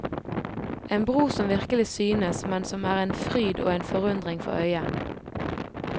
En bro som virkelig synes, men som er en fryd og en forundring for øyet.